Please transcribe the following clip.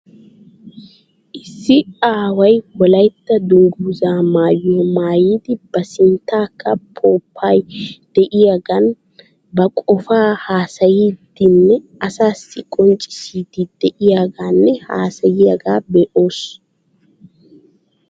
Issi aaway wollaytta dunguzzaa mayuwaa maayidi ba sinttankka pomppay de'iyaagan ba qofaa hasayiidi nne asaasi qonccisiidi de'iyaagaa nne hasayiyaagaa be'oos.